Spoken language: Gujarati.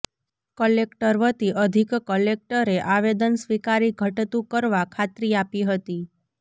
કલેકટક વતી અધિક કલેકટરે આવેદન સ્વિકારી ઘટતું કરવા ખાત્રી આપી હતી